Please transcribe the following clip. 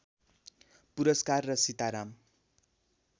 पुरस्कार र सीताराम